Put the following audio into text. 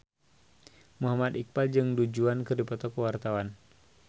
Muhammad Iqbal jeung Du Juan keur dipoto ku wartawan